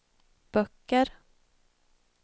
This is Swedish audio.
böcker